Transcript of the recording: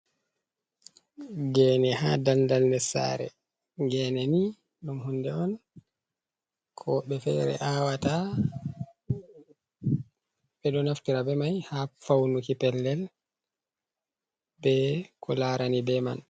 Geene haa dandal ndes saare, geene ni ɗum hunde on ko woɓɓe fere awata, ɓe ɗo naftira be mai haa faunuki pellel, be ko laarani be man.